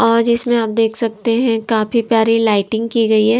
और जिसमें आप देख सकते हैं काफी प्यारी लाइटिंग की गई है।